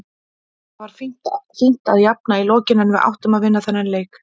Það var fínt að jafna í lokin en við áttum að vinna þennan leik.